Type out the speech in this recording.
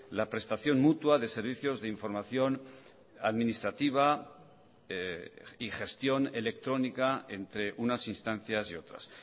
la prestación mutua de servicios de información administrativa y gestión electrónica entre unas instancias y otras